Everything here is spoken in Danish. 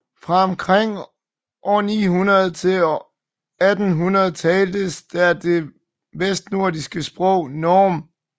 Fra omkring år 900 til 1800 taltes der det vestnordiske sprog norn